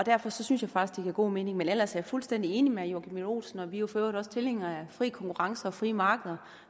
derfor synes jeg faktisk det giver god mening men ellers er jeg fuldstændig enig med herre joachim b olsen og vi er jo for øvrigt også tilhængere af fri konkurrence og frie markeder